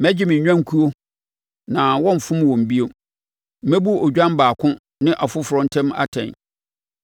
mɛgye me nnwankuo na wɔrenfom wɔn bio. Mɛbu odwan baako ne ɔfoforɔ ntam atɛn.